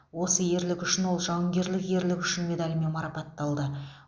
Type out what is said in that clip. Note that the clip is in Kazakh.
осы ерлігі үшін ол жауынгерлік ерлігі үшін медалімен марапатталды